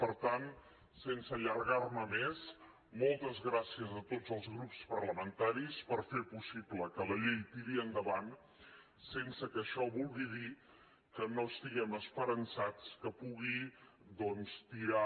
per tant sense allargar me més moltes gràcies a tots els grups parlamentaris per fer possible que la llei tiri endavant sense que això vulgui dir que no estiguem esperançats que pugui doncs tirar